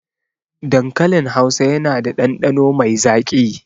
Dankalin hausa yana da ɗanɗano mai zaƙi